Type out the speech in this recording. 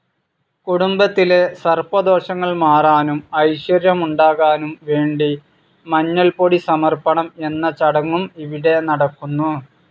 കുടുംബത്തിലെ സർപ്പദോഷങ്ങൾ മാറാനും ഐശ്വര്യമുണ്ടാകാനും വേണ്ടി മഞ്ഞൾപൊടി സമർപണം എന്ന ചടങ്ങും ഇവിടെ നടക്കുന്നു.